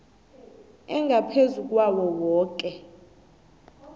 engaphezu kwawo woke